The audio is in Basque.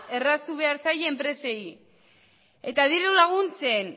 erraztu behar zaie enpresei eta dirulaguntzen